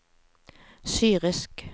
syrisk